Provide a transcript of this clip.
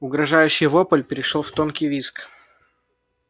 угрожающий вопль перешёл в тонкий визг